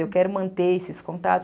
Eu quero manter esses contatos.